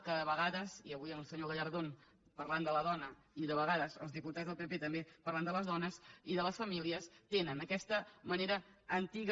que de vega·des i avui el senyor gallardón parlant de la dona i de vegades els diputats del pp també parlant de les dones i de les famílies tenen aquesta manera antiga